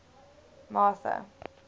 martha